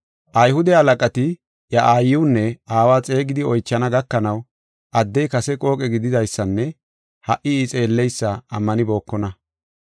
Ayhude halaqati, iya aayiwunne aawa xeegidi oychana gakanaw, addey kase qooqe gididaysanne ha77i I xeelleysa ammanibookona.